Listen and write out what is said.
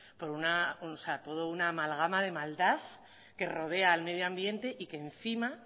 por toda una amalgama de maldad que rodea al medioambiente y que encima